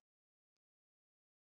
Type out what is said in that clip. Er Guð með húmor?